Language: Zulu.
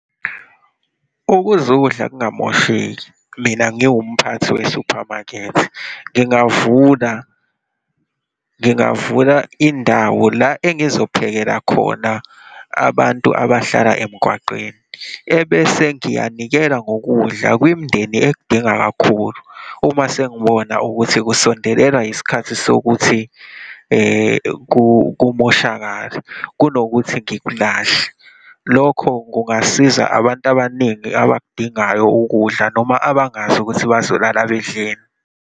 Ukuze ukudla kungamosheki, mina ngiwumphathi we-supermarket, ngingavuna, ngingavula indawo la engizophekela khona abantu abahlala emgwaqeni. Ebese ngiyanikela ngokudla kwimindeni ekudinga kakhulu uma sengibona ukuthi kusondelelwa isikhathi sokuthi kumoshakale, kunokuthi ngikulahle. Lokho kungasiza abantu abaningi abakudingayo ukudla noma abangazi ukuthi bazolala bedleni.